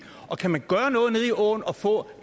og kan man gøre noget nede i åen og få